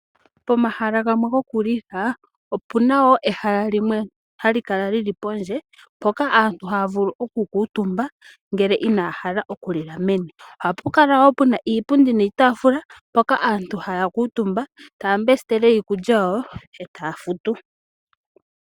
Pomahala gamwe goku lila opuna woo ehala limwe hali kala lili pondje moka aantu haya vulu oku kuutumba ngele inaya hala okulila meni. Ohapu kala woo pena iipundi niitafula mpoka aantu haya kuutumba taya mbesitele iikukya yawo etaya futu.